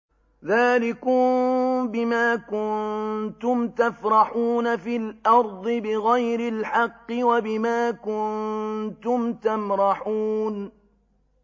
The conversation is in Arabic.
ذَٰلِكُم بِمَا كُنتُمْ تَفْرَحُونَ فِي الْأَرْضِ بِغَيْرِ الْحَقِّ وَبِمَا كُنتُمْ تَمْرَحُونَ